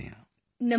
ਨਮਸਤੇ sir